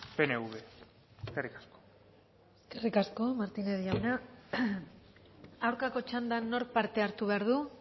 pnv eskerrik asko eskerrik asko martinez jauna aurkako txandan nork parte hartu behar du